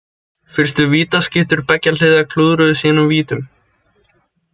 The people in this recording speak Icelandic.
Fyrstu vítaskyttur beggja liða klúðruðu sínum vítum.